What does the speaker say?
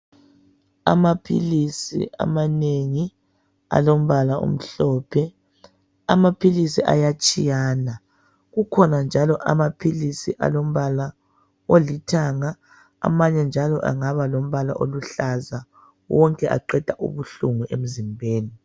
Amaphilisi amanengi alombala omhlophe. Amaphilisi ayatshiyana . Kukhona njalo amaphilisi alombala olithanga . Amanye njalo angaba lombala oluhlaza . Wonke aqeda ubuhlungu emzimbeni.